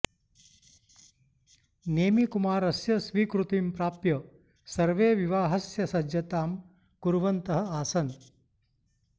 नेमिकुमारस्य स्वीकृतिं प्राप्य सर्वे विवाहस्य सज्जतां कुर्वन्तः आसन्